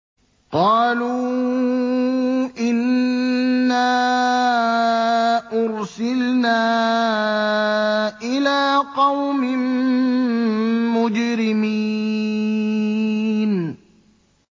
قَالُوا إِنَّا أُرْسِلْنَا إِلَىٰ قَوْمٍ مُّجْرِمِينَ